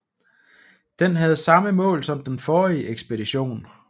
Den havde samme mål som den forrige ekspedition